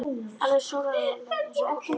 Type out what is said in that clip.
Alveg sallaróleg eins og ekkert væri að.